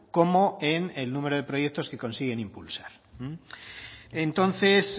como en el número de proyectos que consiguen impulsar entonces